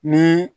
Ni